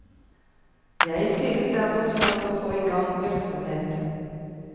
Jeg synes det er morsomt å få i gang virksomhet.